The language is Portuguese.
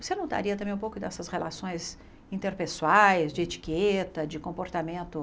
Você notaria também um pouco dessas relações interpessoais, de etiqueta, de comportamento?